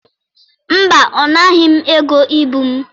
Mba, ọ naghị m ego ibu m.